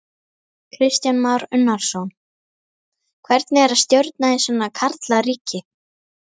Kristján Már Unnarsson: Hvernig er að stjórna í svona karlaríki?